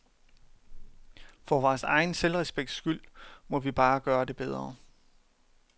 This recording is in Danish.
For vores egen selvrespekts skyld må vi bare gøre det bedre.